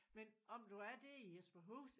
Men om du er der i Jesperhus